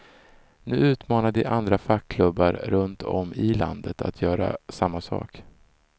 Nu utmanar de andra fackklubbar runt om i landet att göra samma sak.